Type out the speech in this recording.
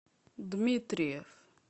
дмитриев